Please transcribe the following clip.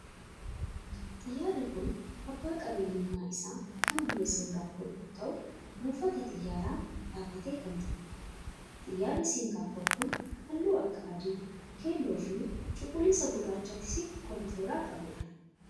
Xiyyaarri kun abbaan qabeenyummaa isaa kan biyya singaappor yoo ta'u buufata xiyyaaraa dhaabbatee kan jirudha. Xiyyaarri singaappor kun halluu akka adii, keelloo fi cuquliisa gurraachatti siqu kan of irraa qabudha.